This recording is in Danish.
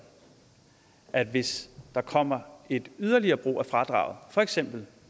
at hvis der kommer et yderligere brug af fradrag for eksempel